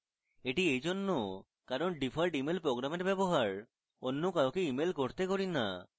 এটি এইজন্য কারণ আমি ডিফল্ট email program ব্যবহার অন্য কাউকে email করতে করি না